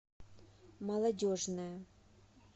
молодежная